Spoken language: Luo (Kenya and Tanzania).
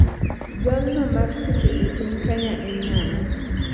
Jalno mar seche e piny Kenya en ang'o